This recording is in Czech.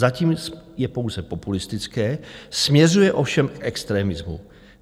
Zatím je pouze populistické, směřuje ovšem k extremismu."